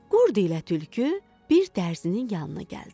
Qurd ilə tülkü bir dərzinin yanına gəldilər.